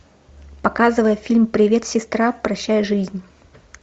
показывай фильм привет сестра прощай жизнь